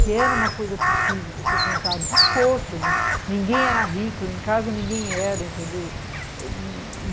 que era uma coisa possível você comprar, de esforço, ninguém era rico, lá em casa ninguém era, entendeu?